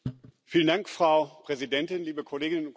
Frau Präsidentin, liebe Kolleginnen und Kollegen!